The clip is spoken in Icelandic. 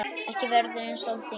Ekkert verður eins án þín.